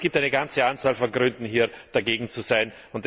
Das heißt, es gibt eine ganze Anzahl von Gründen, hier dagegen zu sein.